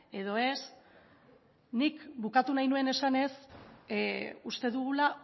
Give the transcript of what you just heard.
edo ez nik bukatu nahi nuen esanez uste dugula